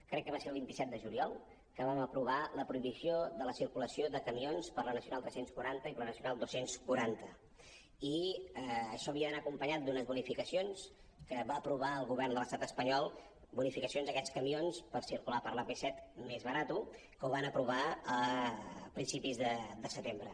crec que va ser el vint set de juliol que vam aprovar la prohibició de la circulació de camions per la nacional tres cents i quaranta i per la nacional dos cents i quaranta i això havia d’anar acompanyat d’unes bonificacions que va aprovar el govern de l’estat espanyol bonificacions d’aquests camions per circular per l’ap set més barat que ho van aprovar a principis de setembre